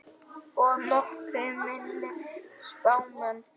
Og nokkrir minni spámenn.